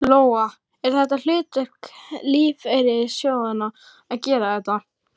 Lóa: Er þetta hlutverk lífeyrissjóðanna að gera þetta?